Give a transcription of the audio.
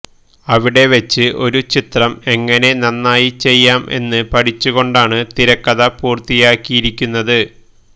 അവിടെ വച്ച് ഒരു ചിത്രം എങ്ങനെ നന്നായി ചെയ്യാം എന്ന് പഠിച്ചു കൊണ്ടാണ് തിരിക്കഥ പൂര്ത്തിയാക്കിയിരിക്കുന്നത്